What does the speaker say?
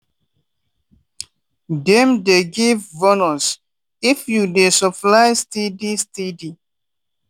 dem dey give bonus if you dey supply steady steady.